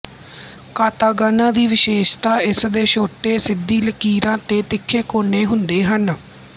katakana ਦੀ ਵਿਸ਼ੇਸ਼ਤਾ ਇਸ ਦੇ ਛੋਟੇ ਸਿੱਧੀ ਲਕੀਰਾਂ ਤੇ ਤਿੱਖੇ ਕੋਨੇ ਹੁੰਦੇ ਹਨ